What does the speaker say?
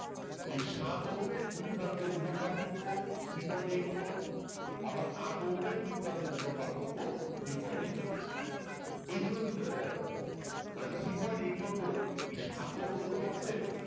এই সাত ওহমের দুই প্রান্তের বিভব পার্থক্য three point eight one volt আবার আট ওহমের দুই প্রান্তের বিভব পার্থক্য three point eight one volt এই জন্য এরা কিন্তু parallel মানে three point eight one volt এর সাত ওহম রোধ ওহমও পাচ্ছে